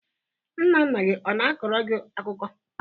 Nna nna gị ọ na-akọro gị akụkọ?